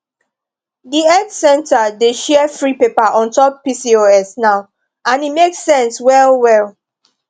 the health center dey share free paper on top pcos now and e make sense well well